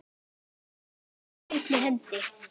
Allt á einni hendi.